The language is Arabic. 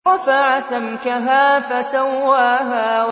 رَفَعَ سَمْكَهَا فَسَوَّاهَا